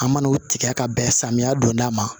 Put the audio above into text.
An mana u tigɛ ka bɛn samiya donda ma